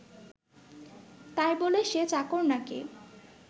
তাই বলে সে চাকর নাকি